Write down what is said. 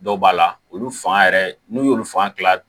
Dɔw b'a la olu fan yɛrɛ n'u y'olu fan kila